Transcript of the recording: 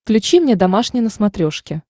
включи мне домашний на смотрешке